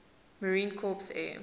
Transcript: marine corps air